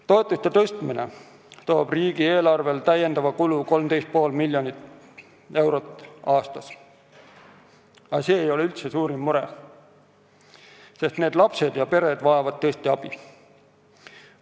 Toetuste tõstmine toob riigieelarvele lisakulu 13,5 miljonit eurot aastas, aga see ei ole üldse suurim mure, sest need lapsed ja pered vajavad tõesti abi.